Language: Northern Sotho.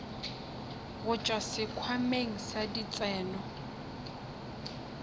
go tšwa sekhwameng sa ditseno